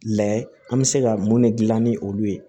Layɛ an bɛ se ka mun de dilan ni olu ye